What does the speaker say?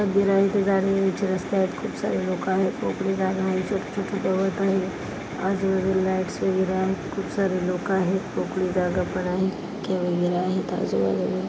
रस्ते आहेत खूप सारे लोक आहेत मोकळी जागा मध्ये छोटे छोटे गवत आहे आणि आजूबाजूला लाईटस वगैरे आहेत खूप सारे लोक आहेत मोकळी जागा पण आहे आजूबाजूला--